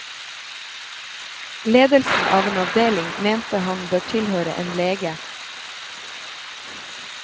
Ledelsen av en avdeling mente han bør tilhøre en lege.